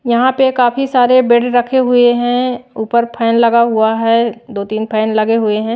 यहां पे काफी सारे बेड रखे हुए हैं ऊपर फैन लगा हुआ है दो-तीन फैन लगे हुए है।